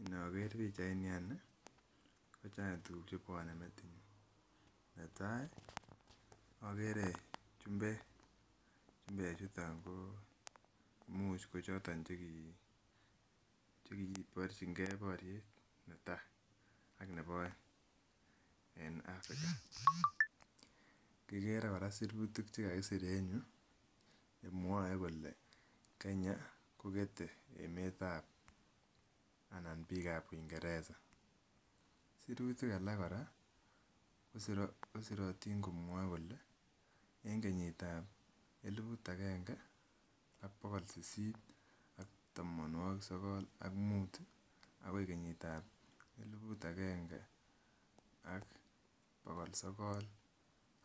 Inoker pichait ni any ih ko chang tuguk chebwone metinyun. Netai okere chumbek, chumbek chuton ko imuch kochoton chekiborchingee boriet netaa ak nebo oeng en Africa. Kikere kora sirutik chekakisir en yuu chemwoe kole Kenya kokete emetab anan biik ab uingereza. Sirutik alak kora kosirotin komwoe kole en kenyit ab eliput agenge ak bogol sisit ak tamonwogik sogol ak mut ih akoi kenyit ab eliput agenge ak bogol sogol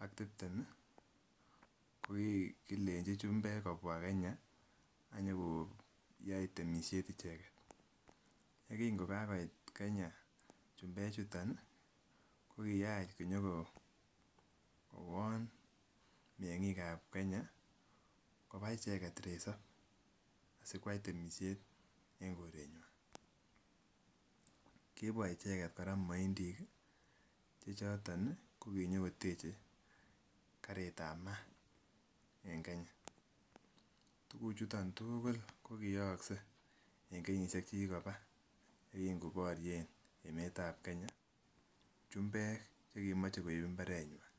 ak tiptem ih ko kikilenji chumbek kobwa Kenya ak nyokoyai temisiet icheket. Ye kin kokakoit Kenya chumbek chuton ih kokiyach konyokowon meng'ik ab Kenya koba icheket resop asikoyai icheket temisiet en koretnywan. Kibwa kora moindik ih chechoton kokinyokoteche karit ab maat en Kenya. Tuguk chuton tugul kokiyookse en kenyisiek chekikoba yekin koborien emetab Kenya chumbek chekimoche koib mbaretnywan.